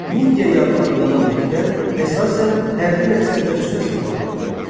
Midiya yağı adlanan neftdən əsasən hərbi məqsədlər üçün istifadə edilirdi.